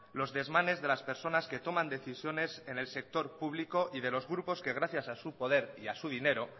los desmanes de las personas que toman decisiones en el sector público y de los grupos que gracias a su poder y a su dinero